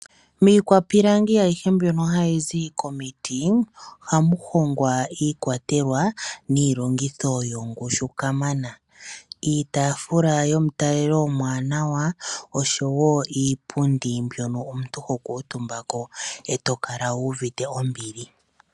Miikwapilangi ayije mbyoka ha yi zi komiti, oha mu hongwa iikwatelwa niilongitho yongushu kamana, iitaafula yo mu talelo omwaanawa , osho woo iipundi mbyoka ho kuutumbako eto kala wu uvite ombili.